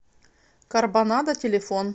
карбонадо телефон